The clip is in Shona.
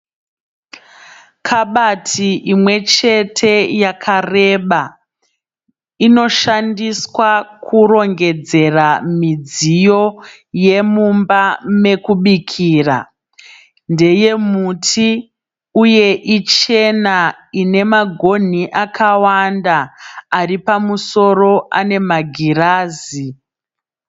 Kabati imwe chete yakareba. Inoshandiswa kurongedzera midziyo yemumba mekubikira. Ndeye muti uye ichena ine magonhi akawanda. Ari pamusoro ane magirazi.